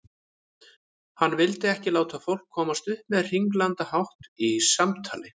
Hann vildi ekki láta fólk komast upp með hringlandahátt í samtali.